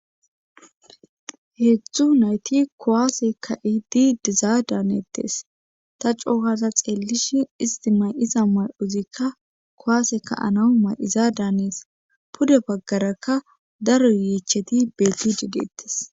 heedzdzu nayti kuwase ka'iidi dizaa daanettes ta cookaza xeellish isti may7iza may7uzikka kowaaseka anaw may7iza daanees pude baggarakka daro yiicheti beetti dideettes